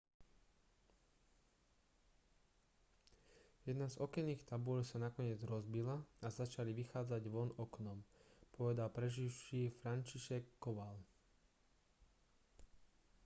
jedna z okenných tabúľ sa nakoniec rozbila a začali vychádzať von oknom povedal preživší franciszek kowal